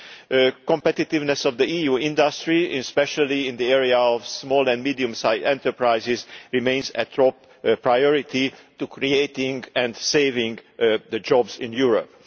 The competitiveness of the EU industry, especially in the area of small and medium sized enterprises, remains a top priority to creating and saving jobs in Europe.